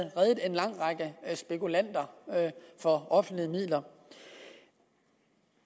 reddet en lang række spekulanter for offentlige midler